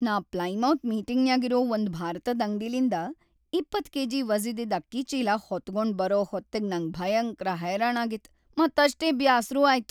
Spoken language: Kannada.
ನಾ ಪ್ಲೈಮೌತ್ ಮೀಟಿಂಗ್‌ನ್ಯಾಗಿರೋ ಒಂದ್ ಭಾರತದ್ ಅಂಗ್ಡಿಲಿಂದ ‌೨೦ ಕೆ.ಜಿ. ವಜ್ಝಿದಿದ್ ಅಕ್ಕಿ ಚೀಲಾ ಹೊತಗೊಂಡ್‌ ಬರೋ ಹೊತ್ತಿಗ್ ನಂಗ್ ಭಯಂಕ್ರ ಹೈರಾಣಾಗಿತ್ತ್‌ ಮತ್‌ ಅಷ್ಟೇ ಬ್ಯಾಸ್ರೂ ಆಯ್ತು.